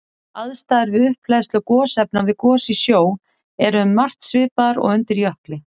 Aðstæður við upphleðslu gosefna við gos í sjó eru um margt svipaðar og undir jökli.